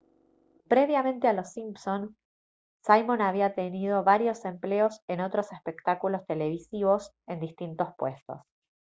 previamente a los simpson simon había tenido varios empleos en otros espectáculos televisivos en distintos puestos